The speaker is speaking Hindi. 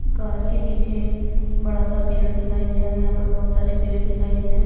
कार के पीछे बड़ा सा पेड़ दिखाई दे रहा है यहाँ पर बहुत सारे पेड़ दिखाई दे रहे है।